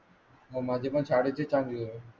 माझे पण साडेचार आहे.